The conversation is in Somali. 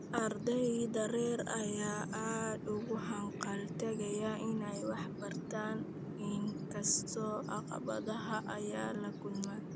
Ardayda rer ayaa aad ugu hanqal taagaya inay waxbartaan inkastoo caqabadaha ay la kulmaan.